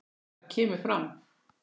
Þar kemur fram